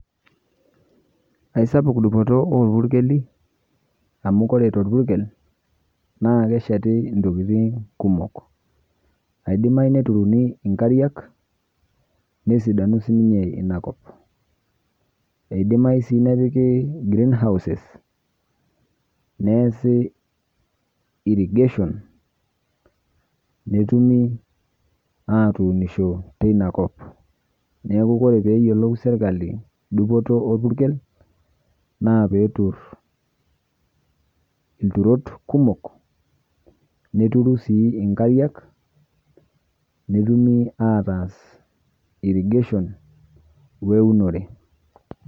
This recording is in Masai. Aisapuk dupoto orpurkeli amu kore torpurkel naakesheti intokitin kumok. Aidimai neturuni inkariak nesidanu siinye inakop. Eidimayu sii nepiki greenhouses neesi  irrigation netumi atuunisho teinakop. Neaku kore peeyiolou [vs]serkali dupoto orpurkel naapeeturr ilturot kumok neturu sii inkariak netumi ataaas  irrigation oeunore.